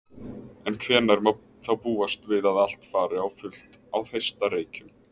En hvenær má þá búast við að allt fari á fullt á Þeistareykjum?